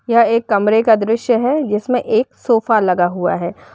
यह एक कमरे का दृश्य है जिसमें एक सोफा लगा हुआ है।